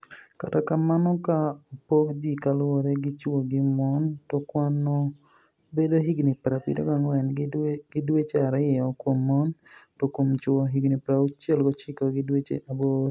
Kata kamano, ka opog ji kaluwore gi chwo gi moni, to kwanino bedo higinii 74 gi dweche ariyo kuom moni, to kuom chwo higinii 69 gi dweche aboro.